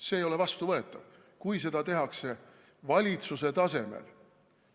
See ei ole vastuvõetav, kui seda tehakse valitsuse tasemel.